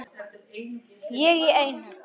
Ég í einu.